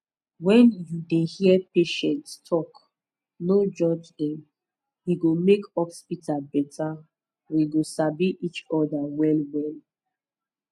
when you dey hear patients talk no judge dem e go make hospital better we go sabi each other well well